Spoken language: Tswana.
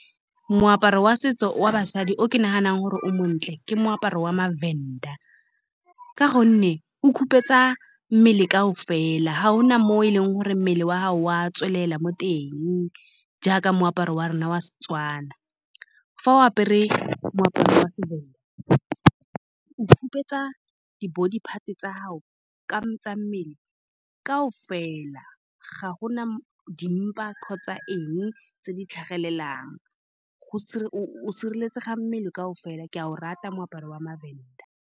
Moaparo wa setso wa basadi o ke naganang gore o montle ke moaparo wa mavhenda, ka gonne o khupetša mmele kaofela. Ga o na mo e leng gore mmele wa gago wa tswelela mo teng jaaka moaparo wa rona wa Setswana. Fa o apere moaparo wa seVhenda, o khupetša di-body part-e tsa gago, tsa mmele kaofela. Ga gona dimmapa kgotsa eng tse di tlhagelelang go . O sireletsega mmele kaofela. Ke a o rata moaparo wa maVhenda.